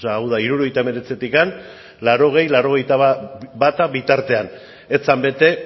hau da hirurogeita hemeretzitikan laurogei barra laurogeita bat bitartean ez zen bete